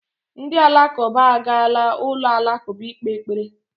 Ndị Alakụba agaala ụlọ alakụba ikpe ekpere